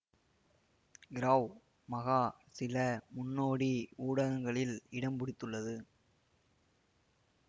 கிராவ் மகா சில முன்னோடி ஊடகங்களில் இடம்பிடித்துள்ளது